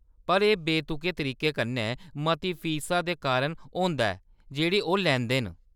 पर एह् बेतुके तरीके कन्नै मती फीसा दे कारण होंदा ऐ जेह्‌‌ड़ी ओह्‌‌ लैंदे न।